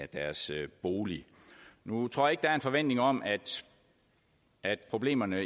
deres bolig nu tror ikke der er en forventning om at at problemerne